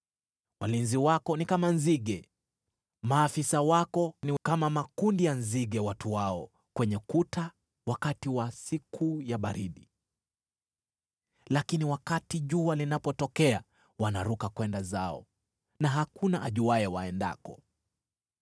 Walinzi wako ni kama nzige, maafisa wako ni kama makundi ya nzige watuao kwenye kuta wakati wa siku ya baridi: lakini wakati jua linapotokea wanaruka kwenda zao, na hakuna ajuaye waendako.